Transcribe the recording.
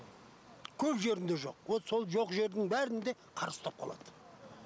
көп жерінде жоқ вот сол жоқ жердің бәрінде қар ұстап қалад